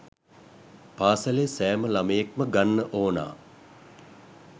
පාසලේ සෑම ළමයෙක්‌ම ගන්න ඕනා